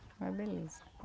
Uma beleza.